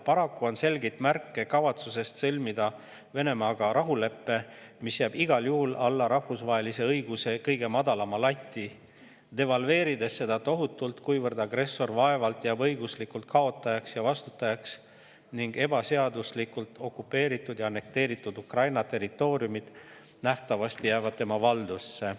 Paraku on selgeid märke kavatsusest sõlmida Venemaaga rahulepe, mis jääb igal juhul alla rahvusvahelise õiguse kõige madalama lati, devalveerides seda tohutult, kuivõrd agressor vaevalt jääb õiguslikult kaotajaks ja vastutajaks ning ebaseaduslikult okupeeritud ja annekteeritud Ukraina territooriumid nähtavasti jäävad tema valdusse.